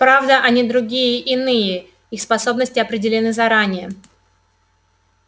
правда они другие иные их способности определены заранее